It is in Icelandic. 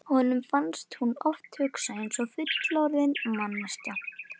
Honum fannst hún oft hugsa eins og fullorðin manneskja.